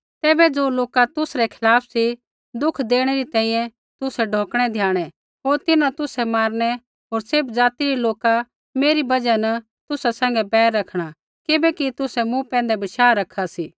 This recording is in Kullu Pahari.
तैबै ज़ो लोका तुसरै खिलाफ़ सी दुख देणै री तैंईंयैं तुसै ढौकणै द्याणै होर तिन्हां तुसै मारनै होर सैभ ज़ाति रै लोका मेरी बजहा न तुसा सैंघै बैर रखणा किबैकि तुसै मूँ पैंधै बशाह रखा सी